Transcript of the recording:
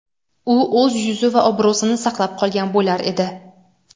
u o‘z yuzi va obro‘sini saqlab qolgan bo‘lar edi.